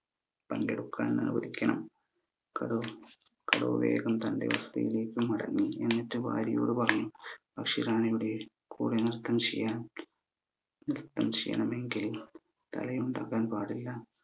അനുവദിക്കണം കടു കടുവ വേഗം തന്റെ വസതിയിലേക്ക് മടങ്ങി എന്നിട്ട് ഭാര്യയോട് പറഞ്ഞു പക്ഷി റാണിയുടെ കൂടെ ന്രത്തം ചെയ്യാൻ ന്രത്തം ചെയ്യണമെങ്കിൽ തലയുണ്ടാകാൻ പാടില്ല